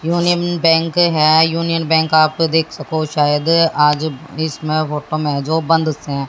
Union Bank है यूनियन बैंक आप तो देख सको शायद आज इसमें फोटो मे है जो बंद से है।